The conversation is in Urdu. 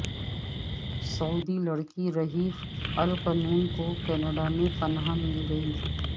سعودی لڑکی رہف القنون کو کینیڈا میں پناہ مل گئی